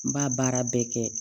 N b'a baara bɛɛ kɛ